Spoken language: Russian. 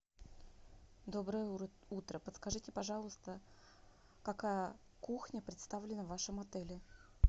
доброе утро подскажите пожалуйста какая кухня представлена в вашем отеле